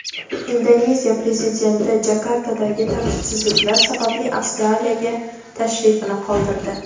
Indoneziya prezidenti Jakartadagi tartibsizliklar sababli Avstraliyaga tashrifini qoldirdi.